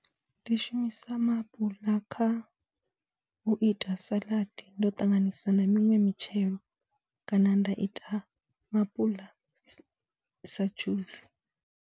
Ndi shumisa maapula kha u ita saḽadi, ndo ṱanganisa na miṅwe mitshelo kana nda ita maapuḽa sa dzhusi.